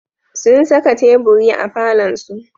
Sun saka teburi a falonsu.